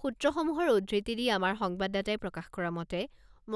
সূত্ৰসমূহৰ উদ্ধৃতি দি আমাৰ সংবাদদাতাই প্ৰকাশ কৰা মতে,